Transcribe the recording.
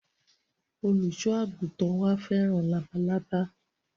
Olùsọ àgùntàn wa fẹ́ràn labalábá